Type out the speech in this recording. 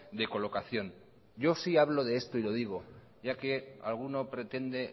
de colocación yo sí hablo de esto y lo digo ya que alguno pretende